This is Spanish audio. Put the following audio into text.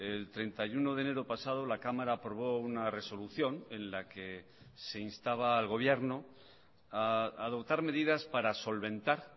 el treinta y uno de enero pasado la cámara aprobó una resolución en la que se instaba al gobierno a adoptar medidas para solventar